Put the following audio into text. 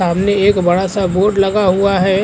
सामने एक बड़ा-सा बोर्ड लगा हुआ है ।